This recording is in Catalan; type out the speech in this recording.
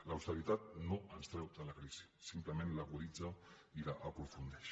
l’austeritat no ens treu de la crisi simplement l’aguditza i l’aprofundeix